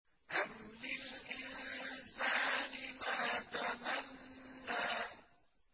أَمْ لِلْإِنسَانِ مَا تَمَنَّىٰ